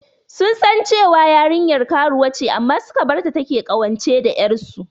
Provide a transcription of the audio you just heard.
Sun san cewar yarinyar karuwa ce amma suka barta take ƙawance da ƴarsu.